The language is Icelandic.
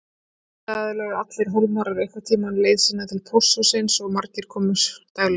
Auðvitað lögðu allir Hólmarar einhvern tímann leið sína til pósthússins og margir komu daglega.